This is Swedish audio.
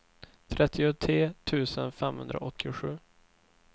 trettiotre tusen femhundraåttiosju